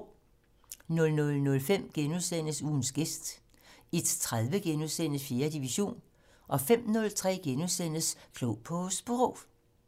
00:05: Ugens gæst * 01:30: 4. division * 05:03: Klog på Sprog *